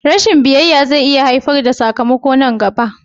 Rashin biyayya zai iya haifar da sakamako nan gaba